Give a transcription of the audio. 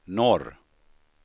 norr